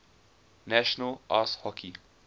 national ice hockey